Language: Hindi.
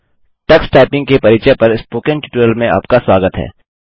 टक्स टाइपिंग के परिचय पर स्पोकन ट्यूटोरियल में आपका स्वागत है